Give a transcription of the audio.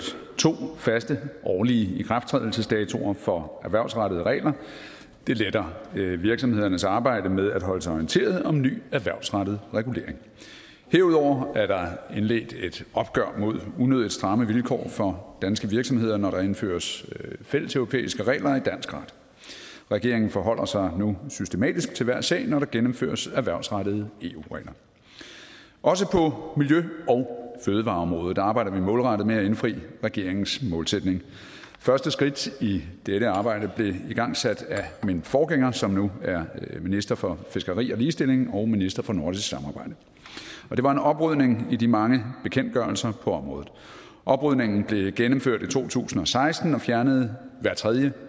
to faste årlige ikrafttrædelsesdatoer for erhvervsrettede regler det letter virksomhedernes arbejde med at holde sig orienteret om ny erhvervsrettet regulering herudover er der indledt et opgør mod unødig stramme vilkår for danske virksomheder når der indføres fælleseuropæiske regler i dansk ret regeringen forholder sig nu systematisk til hver sag når der gennemføres erhvervsrettede eu regler også på miljø og fødevareområdet arbejder vi målrettet med at indfri regeringens målsætning første skridt i dette arbejde blev igangsat af min forgænger som nu er minister for fiskeri og ligestilling og minister for nordisk samarbejde og det var en oprydning i de mange bekendtgørelser på området oprydningen blev gennemført i to tusind og seksten og fjernede hver tredje